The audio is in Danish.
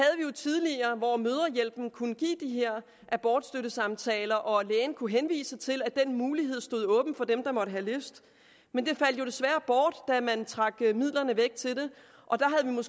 tidligere hvor mødrehjælpen kunne give de her abortstøttesamtaler og lægen kunne henvise til at den mulighed stod åben for dem der måtte have lyst men det faldt desværre bort da man trak midlerne væk til